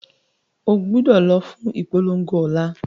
Ogbúdọ̀ lọ fún ìpolongo ọ̀la